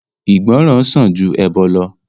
Ìgbọ̀ràn sàn ju ẹbọ̀ lọ